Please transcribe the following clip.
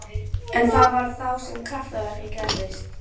En þá var það sem kraftaverkið gerðist.